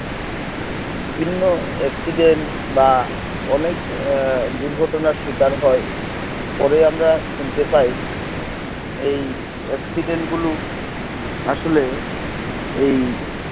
বিভিন্ন accident বা অনেক দুর্ঘটনার শিকার হয় পরে আমরা শুনতে পাই এই accident গুলো আসলেই এই